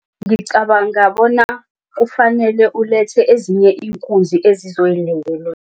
Ngicabanga bona kufanele ulethe ezinye iinkunzi